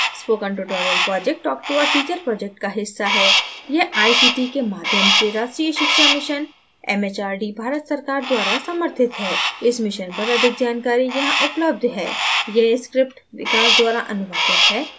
spoken tutorial project talk to a teacher project का एक हिस्सा है यह आईसीटी के माध्यम से राष्ट्रीय शिक्षा mission एमएचआरडी भारत सरकार द्वारा समर्थित है इस mission पर अधिक जानकारी यहां उपलब्ध है: